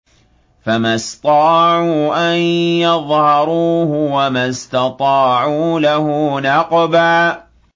فَمَا اسْطَاعُوا أَن يَظْهَرُوهُ وَمَا اسْتَطَاعُوا لَهُ نَقْبًا